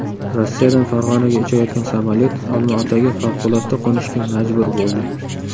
Rossiyadan Farg‘onaga uchayotgan samolyot Olmaotaga favqulodda qo‘nishga majbur bo‘ldi .